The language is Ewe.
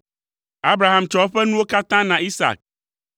Abraham tsɔ eƒe nuwo katã na Isak;